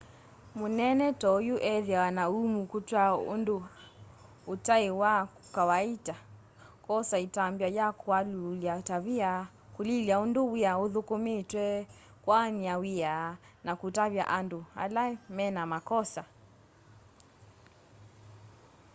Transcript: mũnene to'yũ ethĩawa na ũũmũ kũtw'a ũndũ ũtaĩ wa kawaita kwosa ĩtambya ya kũalyũũla tavia kũlilya ũndũ wĩa ũthũkũmĩtwe kũaanya wĩa na kũtavya andũ ylaĩ mena makosa